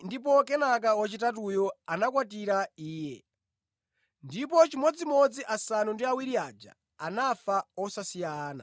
ndipo kenaka wachitatuyo anamukwatira iye, ndipo chimodzimodzi asanu ndi awiri aja anafa osasiya ana.